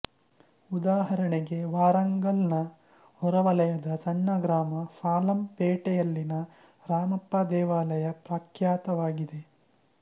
ಉದಾಹರಣೆಗೆ ವಾರಂಗಲ್ ನ ಹೊರವಲಯದ ಸಣ್ಣ ಗ್ರಾಮ ಪಾಲಮ್ ಪೇಟೆ ಯಲ್ಲಿನ ರಾಮಪ್ಪಾ ದೇವಾಲಯ ಪ್ರಖ್ಯಾತವಾಗಿದೆ